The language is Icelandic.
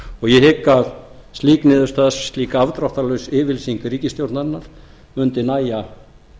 ég hygg að slík niðurstaða slík afdráttarlaus yfirlýsing ríkisstjórnarinnar mundi nægja